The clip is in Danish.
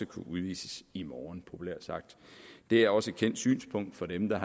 kunne udvises i morgen populært sagt det er også et kendt synspunkt for dem der